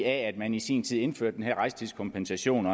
at man i sin tid indførte den her rejsetidskompensation